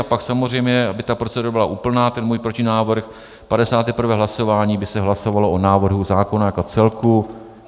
A pak samozřejmě, aby ta procedura byla úplná, ten můj protinávrh, 51. hlasování by se hlasovalo o návrhu zákona jako celku.